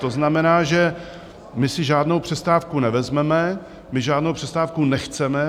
To znamená, že my si žádnou přestávku nevezmeme, my žádnou přestávku nechceme.